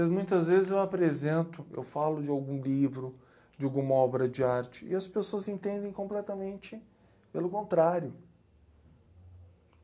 Porque muitas vezes eu apresento, eu falo de algum livro, de alguma obra de arte, e as pessoas entendem completamente pelo contrário.